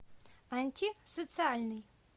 антисоциальный